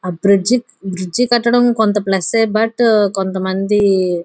ఆ bridge bridge కట్టడం కొంత ప్ల్స్ బట్ కొంత మంది --